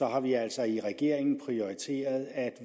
har vi altså i regeringen prioriteret at